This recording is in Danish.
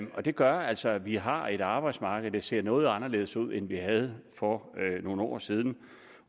det gør altså at vi har et arbejdsmarked der ser noget anderledes ud end vi havde for nogle år siden